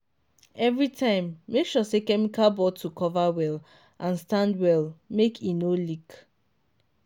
everytime make sure say chemical bottle cover well and stand well make e no leak.